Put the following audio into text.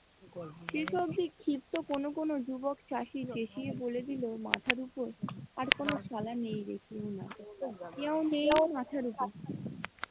শেষ অব্দি ক্ষিপ্ত কোন কোন যুবক চাষি দেখিয়ে বলে দিল মাথার উপর আর কোন কেউ নেই মাথার উপর ।